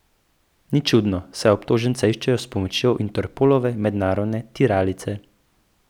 Ni čudno, saj obtoženca iščejo s pomočjo Interpolove mednarodne tiralice.